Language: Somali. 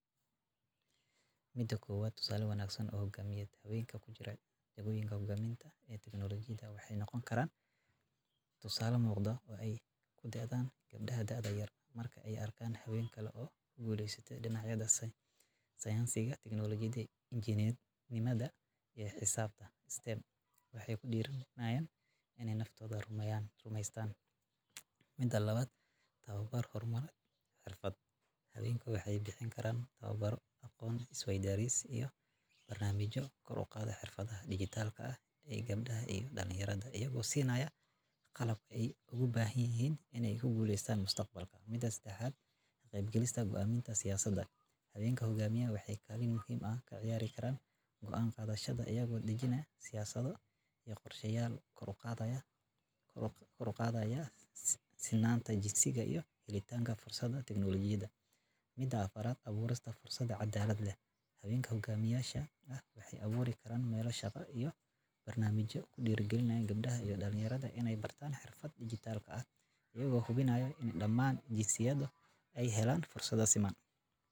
1. Tusaale Wanaagsan Oo Hogaamineed: Haweenka ku jira jagooyinka hoggaaminta ee teknolojiyadda waxay noqon karaan tusaale muuqda oo ay ku daydaan gabdhaha da'da yar. Marka ay arkaan haween kale oo ku guuleystay dhinacyada sayniska, teknolojiyadda, injineernimada, iyo xisaabta (STEM), waxay ku dhiirranayaan inay naftooda rumaystaan. 2. Tababar iyo Horumarin Xirfadeed: Haweenku waxay bixin karaan tababarro, aqoon isweydaarsi, iyo barnaamijyo kor u qaada xirfadaha dhijitaalka ah ee gabdhaha iyo dhalinyarada, iyagoo siinaya qalabka ay ugu baahan yihiin inay guuleystaan mustaqbalka. 3. Ka Qaybgalka Go'aaminta Siyaasadaha: Haweenka hoggaamiya waxay kaalin muhiim ah ka ciyaari karaan go'aan qaadashada, iyagoo dejinaya siyaasado iyo qorshayaal kor u qaadaya sinnaanta jinsiga iyo helitaanka fursadaha teknolojiyadda. 4. Abuurista Fursado Caddaalad Leh: Haweenka hoggaamiyeyaasha ah waxay abuuri karaan meelo shaqo iyo barnaamijyo ku dhiirrigeliya gabdhaha iyo dhalinyarada inay bartaan xirfadaha dhijitaalka ah, iyagoo hubinaya in dhammaan jinsiyaduhu ay helaan fursado siman